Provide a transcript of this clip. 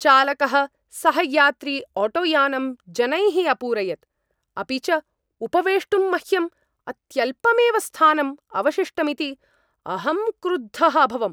चालकः सहयात्रिआटोयानम् जनैः अपूरयत्, अपि च उपवेष्टुं मह्यं अत्यल्पमेव स्थानम् अवशिष्टमिति अहं क्रुद्धः अभवम्।